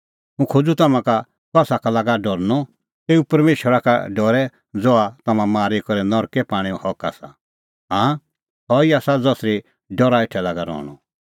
हुंह खोज़ूं तम्हां का कसा का लागा डरनअ तेऊ परमेशरा का डरै ज़हा तम्हां मारी करै नरकै पाणैओ हक आसा हाँ सह ई आसा ज़सरी डरा हेठै लागा रहणअ